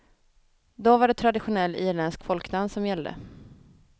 Då var det traditionell irländsk folkdans som gällde.